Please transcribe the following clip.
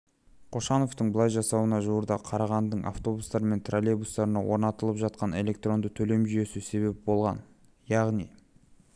қошановтың бұлай жасауына жуырда қарағандының автобустары мен троллейбустарына орнатылып жатқан электронды төлем жүйесі себеп болған яғни